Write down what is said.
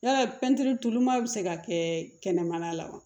Yala pɛntiri tuluman bɛ se ka kɛ kɛnɛmana la wa